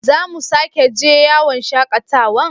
Za mu sake je yawon shakatawan?